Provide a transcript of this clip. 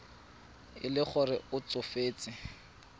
e le gore o tsofetse